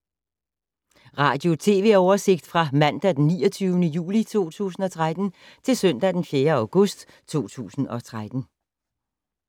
Radio/TV oversigt fra mandag d. 29. juli 2013 til søndag d. 4. august 2013